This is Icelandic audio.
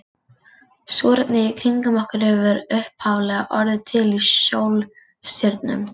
Súrefnið í kringum okkur hefur upphaflega orðið til í sólstjörnum.